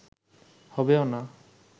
হবেও না